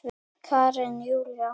Karen Júlía.